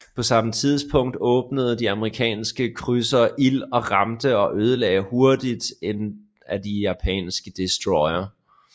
På samme tidspunkt åbnede de amerikanske krydsere ild og ramte og ødelagde hurtigt en af de japanske destroyere